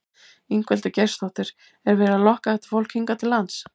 Ingveldur Geirsdóttir: Er verið að lokka þetta fólk hingað til lands?